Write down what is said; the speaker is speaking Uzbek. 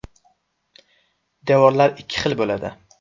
Devorlar ikki xil bo‘ladi.